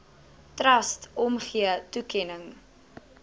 trust omgee toekenning